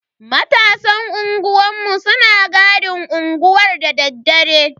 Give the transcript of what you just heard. Matasan unguwanmu suna gadin unguwar dadaddare.